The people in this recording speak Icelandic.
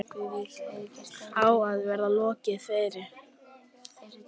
Á að vera lokið fyrir